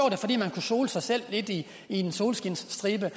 det fordi man kunne sole sig sig lidt i en solskinsstribe